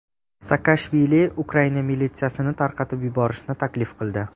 Saakashvili Ukraina militsiyasini tarqatib yuborishni taklif qildi.